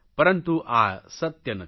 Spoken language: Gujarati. પરંતુ આ સત્ય નથી